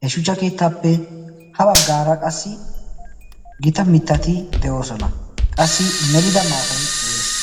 he shuchcha keettaappe ha baggaara qassi gita mittati de7oosona qassi melida maatai de7ees